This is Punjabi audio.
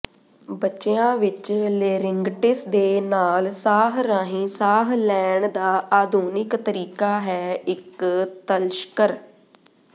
ਬੱਚਿਆਂ ਵਿੱਚ ਲੇਰਿੰਗਟਿਸ ਦੇ ਨਾਲ ਸਾਹ ਰਾਹੀਂ ਸਾਹ ਲੈਣ ਦਾ ਆਧੁਨਿਕ ਤਰੀਕਾ ਹੈ ਇੱਕ ਤਲਸ਼ਕਰ